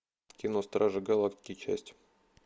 кино стражи галактики часть